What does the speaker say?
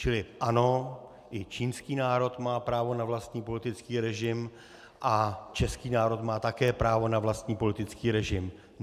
Čili ano, i čínský národ má právo na vlastní politický režim a český národ má také právo na vlastní politický režim.